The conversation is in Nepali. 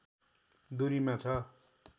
दूरीमा छ